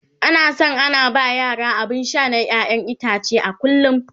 ana San ana ba yara abun Sha na ƴaƴan itace a kullum